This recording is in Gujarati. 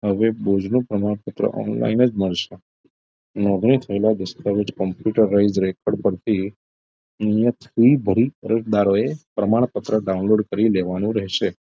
હવે બોજનું પ્રમાણપત્ર online જ મળશે નોંધણી થયેલા દસ્તાવેજ computer wise record પરથી અહીંયા થી ભરી અરજદારોએ પ્રમાણપત્ર download કરી લેવાનુ રહેશે